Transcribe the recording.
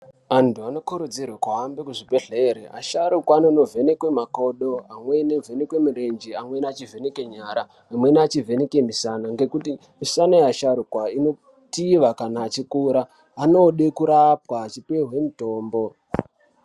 Antu anokurudzirwe kuhambe kuzvibhedhlera asharukwa anovhenekwe makodo amweni avhenekwe mirenje amweni achivheneke nyara. Amweni achivhenekwe musana ngekuti misana yeasharukwa inotiva kana vachikura, inode kurapwa vachipiwe mitombo.